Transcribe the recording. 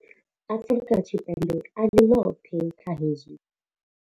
Afrika Tshipembe a ḽi ḽoṱhe kha hezwi.